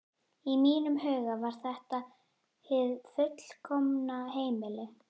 Í mínum huga var þetta hið fullkomna heimili.